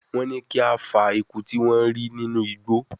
Wọ́n ní kí a fa eku tí wọ́n rí nínú igbó